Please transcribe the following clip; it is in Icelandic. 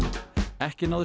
ekki náðist